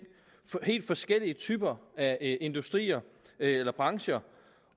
helt forskellige typer af industrier eller brancher